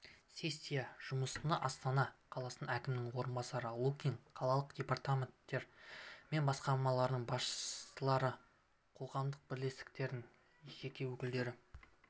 сессия жұмысына астана қаласы әкімінің орынбасары лукин қалалық департаменттер мен басқармалардың басшылары қоғамдық бірлестіктердің және өкілдері